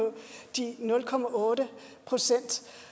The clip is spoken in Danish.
de nul procent